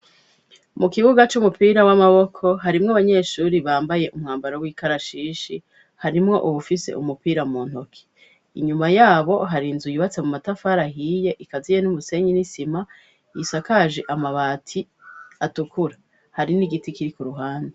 Mu kibuga c'umupira w'amaboko harimwo banyeshuri bambaye umwambaro w'ikarashishi harimwo uwufise umupira mu ntoke inyuma yabo harinzu yubatse mu matafara ahiye ikaziye n'umusenyi n'isima yisakaje amabati atukura hari n'igiti kiri ku ruhanda.